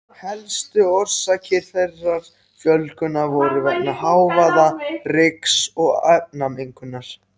Helstu orsakir þessarar fjölgunar voru vegna hávaða-, ryks- og efnamengunar.